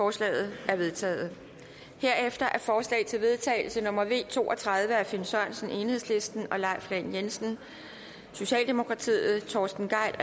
og tredive er vedtaget herefter er forslag til vedtagelse nummer v to og tredive af finn sørensen leif lahn jensen torsten gejl